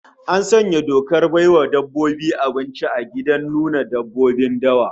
An sanya dokar bai wa dabbobi abinci a gidan nuna dabbobin dawa